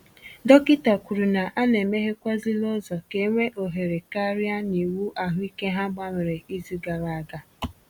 Dọkịta kwuru na e na e meghekwàzịla ụzọ ka e nwee ohere karịa n’iwu ahụike ha gbanwere izu gara aga